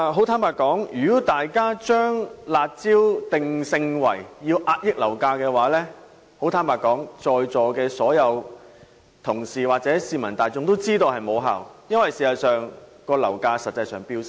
坦白說，如果大家把"辣招"的作用定性為遏抑樓價，相信在座所有同事或市民大眾都知道是無效的，因為事實上樓價一直在飆升。